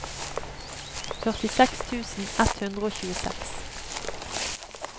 førtiseks tusen ett hundre og tjueseks